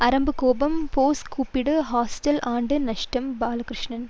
அரும்பு கோபம் ஃபோர்ஸ் கூப்பிடு ஹாஸ்டல் ஆண்டு நஷ்டம் பாலகிருஷ்ணன்